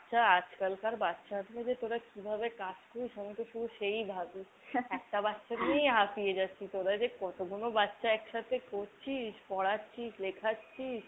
আজকালকার বাচ্চাদের নিয়ে যে তোরা কিভাবে কাজ করিস আমিতো শুধু সেই ভাবি। একটা বাচ্চা নিয়েই হাপিয়ে যাচ্ছিনা তোরা যে কতগুলো বাচ্চা একসাথে করছিস পড়াচ্ছিস লেখাচ্ছিস।